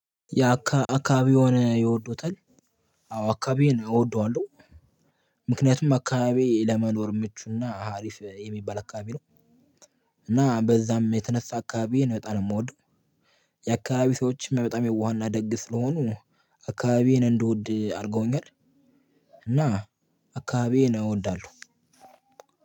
ያ አካባቢ የሆነ ይወዱታል? አዎ አካባቢዬን እወደዋለሁ። ምክንያቱም አካባቢዬ ለመኖር ምቹና አሪፍ የሚባል አካባቢ ነው። እና በዛም የተነሳ አካባቢዬን ነው በጣም የምወደው። የአካባቢዬ ሰዎችም በጣም የዋህና ደግ ስለሆኑ አካባቢዬን እንድወድ አድርገውኛል። እና አካባቢዬን እወዳለሁ።